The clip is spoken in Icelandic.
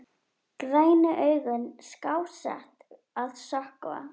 Grænu augun skásett að sökkva.